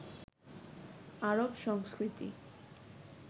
আরব সংস্কৃতি